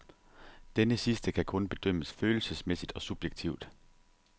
Denne sidste kan kun bedømmes følelsesmæssigt og subjektivt.